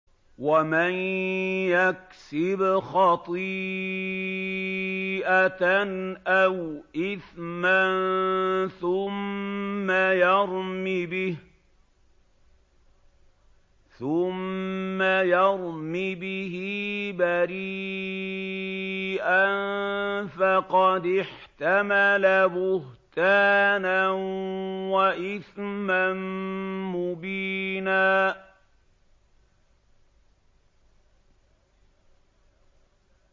وَمَن يَكْسِبْ خَطِيئَةً أَوْ إِثْمًا ثُمَّ يَرْمِ بِهِ بَرِيئًا فَقَدِ احْتَمَلَ بُهْتَانًا وَإِثْمًا مُّبِينًا